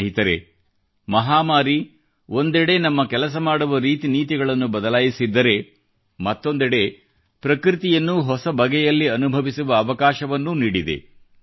ಸ್ನೇಹಿತರೆ ಮಹಾಮಾರಿ ಒಂದೆಡೆ ನಮ್ಮ ಕೆಲಸ ಮಾಡುವ ರೀತಿ ನೀತಿಗಳನ್ನು ಬದಲಾಯಿಸಿದ್ದರೆ ಮತ್ತೊಂದೆಡೆ ಪ್ರಕೃತಿಯನ್ನು ಹೊಸ ಬಗೆಯಲ್ಲಿ ಅನುಭವಿಸುವ ಅವಕಾಶವನ್ನೂ ನೀಡಿದೆ